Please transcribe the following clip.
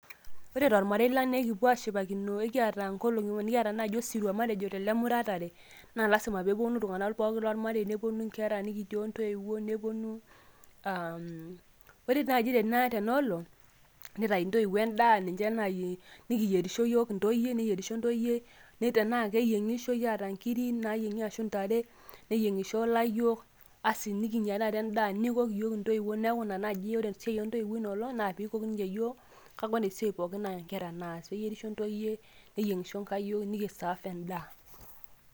ore tolmarei lang' naa ekipuo aashipakino. ekiata naaji enkolong nikipuo osirua laijo olemuratare, naa lasima pee epuonu iltung'anak pooki lormarei, nepuonu inkera, nikitii ontoiwuo. ore naaji tena olong' nitayu intoiwuo edaa, nikiyierisho iyiook intoyie, tenaa keyieng'ishoi aat nkiri naaying'i anaa ntare neyieng'isho layiok. asi nikinyia taata edaa. nikok iyioook intoiwuo neeku ina naaji, ore siai oo ntoiwuo ino olong' naa pee eikok ninche iyiook. kake ore esiai pooki naa nkera naas. keyierisho ntoyie, neyieng'isho nkayiok nikisaaf edaa.